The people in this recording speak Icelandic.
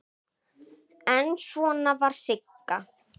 En svona var Sigga.